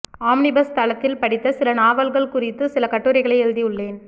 omnibus தளத்தில் படித்த சில நாவல்கள் குறித்து சில கட்டுரைகளை எழுதி உள்ளேன்